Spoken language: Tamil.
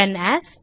run as